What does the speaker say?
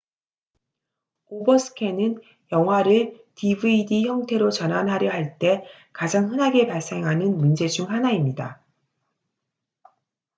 오버스캔은 영화를 dvd 형태로 전환하려 할 때 가장 흔하게 발생하는 문제 중 하나입니다